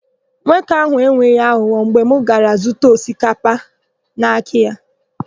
Nwoke áhụ̀ enweghị aghụghọ mgbe m gara zụta àkpà osikapa n'aka ya.